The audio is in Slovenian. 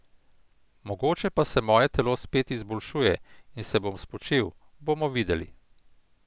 Mogoče pa se moje telo spet izboljšuje in se bom spočil, bomo videli.